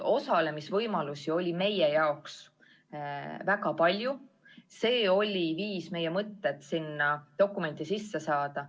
Osalemisvõimalusi oli meie jaoks väga palju, see oli viis meie mõtted sellesse dokumenti sisse saada.